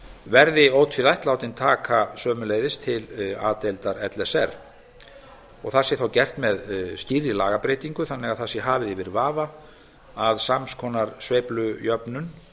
verði ótvírætt látin taka sömuleiðis til a deildar l s r og það sé þá gert með skýrri lagabreytingu þannig að það sé þá hafið yfir vafa að sams konar sveiflujöfnun